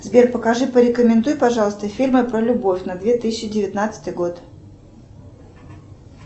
сбер покажи порекомендуй пожалуйста фильмы про любовь на две тысячи девятнадцатый год